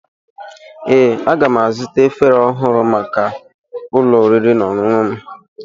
Ee, aga m azụta efere ọhụrụ maka ụlọ oriri na ọṅụṅụ m.